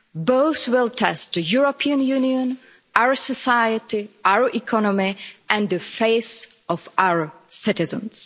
Both will test the European Union, our society, our economy and the faith of our citizens.